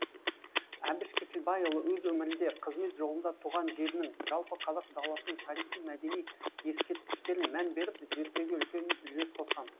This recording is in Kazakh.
әбіш кекілбайұлы өз өмірінде қызмет жолында туған жерінің жалпы қазақ даласының тарихи мәдени ескерткіштерін мән беріп зерттеуге үлкен үлес қосқан